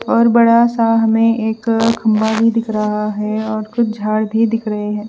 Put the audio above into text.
और बड़ा सा हमे एक खम्भा भी दिख रहा है और कुछ झाड़ भी दिख रहे है।